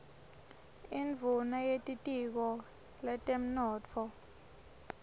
induuna yetitiko letemnotfo